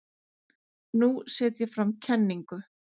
Nú set ég fram kenningu.